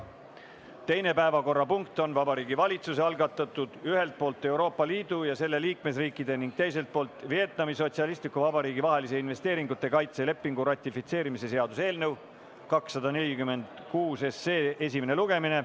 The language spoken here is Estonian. Teine päevakorrapunkt on Vabariigi Valitsuse algatatud ühelt poolt Euroopa Liidu ja selle liikmesriikide ning teiselt poolt Vietnami Sotsialistliku Vabariigi vahelise investeeringute kaitse lepingu ratifitseerimise seaduse eelnõu 246 esimene lugemine.